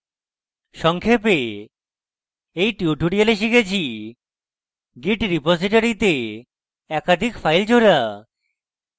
সংক্ষেপে in tutorial আমরা শিখেছি : let রিপোসিটরীতে একাধিক files জোড়া